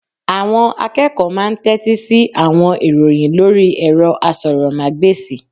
Àwọn akeeko máa n tẹ́tí sí àwọn ìròyìn lórí ẹ̀rọ asọ̀rọ̀mágbèsì